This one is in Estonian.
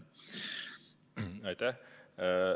Aitäh!